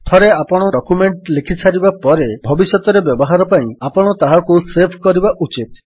ଥରେ ଆପଣଙ୍କ ଡକ୍ୟୁମେଣ୍ଟ୍ ରେ ଲେଖିସାରିବା ପରେ ଭବିଷ୍ୟତରେ ବ୍ୟବହାର ପାଇଁ ଆପଣ ତାହାକୁ ସେଭ୍ କରିବା ଉଚିତ୍